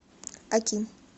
аким